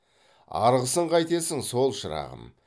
арғысын қайтесің сол шырағым